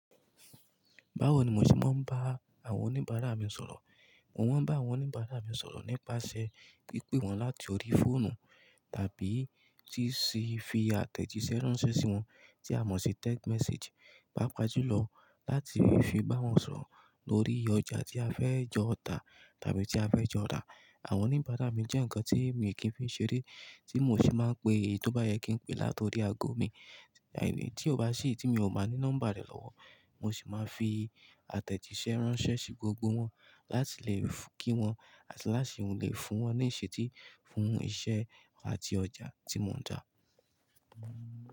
Báwo ni mo ṣe máa ń bá àwọn oníbàárà mi sọ̀rọ̀? Mo máa ń bá àwọn oníbàárà mi sọ̀rọ̀ nípasẹ̀ pípè wọ́n láti orí fóònù tàbí tí sì fi àtẹ̀jísẹ́ ránṣẹ́ sí wọn, tí a mọ̀ sí text message. Pápá jù lọ, láti fi bá wọn sọ̀rọ̀ lórí ọjà tí a fẹ́ jọ tà tàbí tí a fẹ́ jọ rà. Àwọn oníbàárà mi jẹ́ nǹkan tí mi kì í fi ṣeré, tí mo sì máa ń pe èyí tó bá yẹ kí n pe láti orí ago mi. Tí ó bá sí èyi tí mi ò bá ní nọ́mbà rẹ̀ lọ́wọ́, mo sì máa fi àtẹ̀jísẹ́ ránṣẹ́ sí gbogbo wọn láti lè kí wọn àti láti lè fún wọn ní ìṣetí fún iṣẹ́ àti ọjà tí mò ń tà.